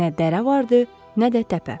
Nə dərə vardı, nə də təpə.